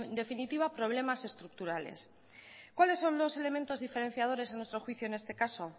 definitiva de problemas estructurales cuáles son los elementos diferenciadores a nuestro juicio en este caso